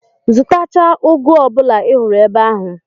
Zụtachaa ụgụ ọ bụla ị hụrụ ebe ahụ!